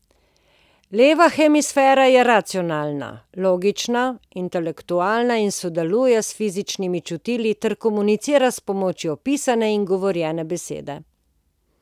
Leva hemisfera je racionalna, logična, intelektualna in sodeluje s fizičnimi čutili ter komunicira s pomočjo pisane in govorjene besede.